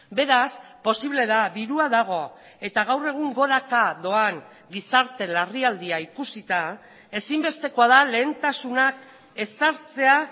beraz posible da dirua dago eta gaur egun goraka doan gizarte larrialdia ikusita ezinbestekoa da lehentasunak ezartzea